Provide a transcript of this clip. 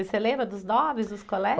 Você lembra dos nomes, dos colegas?